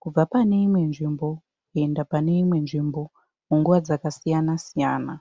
kubva paneimwe nzvimbo kuenda paneimwe nzvimbo panguva dzakasiyanasiyana.